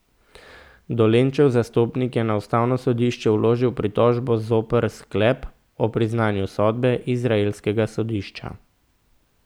Dolenčev zastopnik je na ustavno sodišče vložil pritožbo zoper sklep o priznanju sodbe izraelskega sodišča.